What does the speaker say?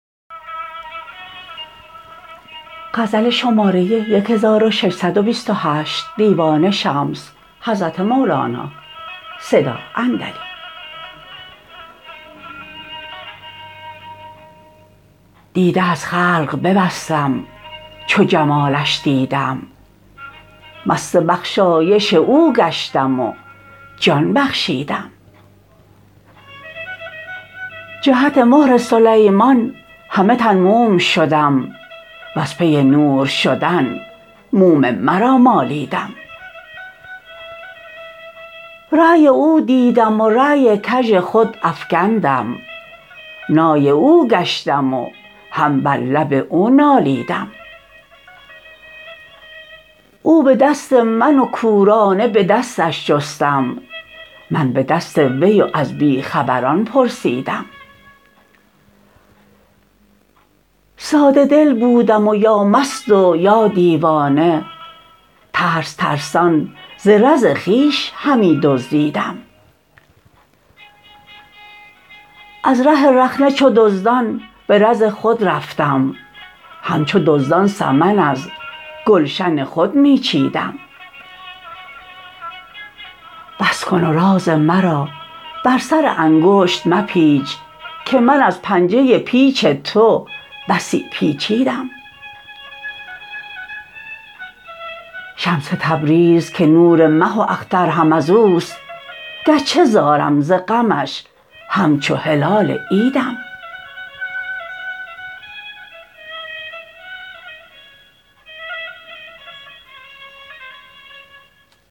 دیده از خلق ببستم چو جمالش دیدم مست بخشایش او گشتم و جان بخشیدم جهت مهر سلیمان همه تن موم شدم وز پی نور شدن موم مرا مالیدم رای او دیدم و رای کژ خود افکندم نای او گشتم و هم بر لب او نالیدم او به دست من و کورانه به دستش جستم من به دست وی و از بی خبران پرسیدم ساده دل بودم و یا مست و یا دیوانه ترس ترسان ز زر خویش همی دزدیدم از ره رخنه چو دزدان به رز خود رفتم همچو دزدان سمن از گلشن خود می چیدم بس کن و راز مرا بر سر انگشت مپیچ که من از پنجه پیچ تو بسی پیچیدم شمس تبریز که نور مه و اختر هم از اوست گرچه زارم ز غمش همچو هلال عیدم